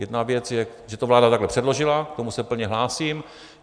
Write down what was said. Jedna věc je, že to vláda takhle předložila, k tomu se plně hlásím.